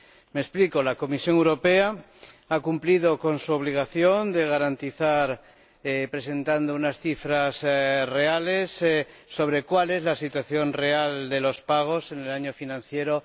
Me explico la Comisión Europea ha cumplido con su obligación de garantizar, presentando unas cifras reales sobre cuál es la situación real de los pagos en el año financiero